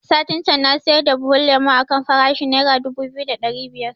Satin can na siyar da buhun lemo a kan farashin nera dubu biyu da ɗari biyar